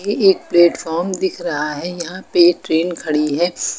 एक प्लेटफार्म दिख रहा है यहां पे ट्रेन खड़ी है।